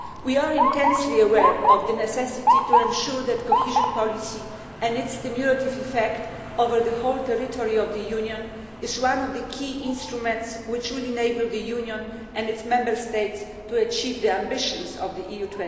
We are intensely aware of the necessity to ensure that cohesion policy and its cumulative effect over the whole territory of the Union is one of the key instruments which will enable the Union and its Member States to achieve the ambitions of EU